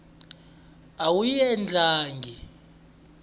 a yi n wi endlangi